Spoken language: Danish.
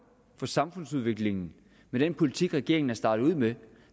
for samfundsudviklingen med den politik regeringen har startet ud med